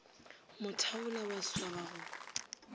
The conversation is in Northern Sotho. mo thaula wa swaba go